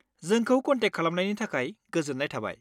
जोंखौ कन्टेक खालामनायनि थाखाय गोजोन्नाय थाबाय।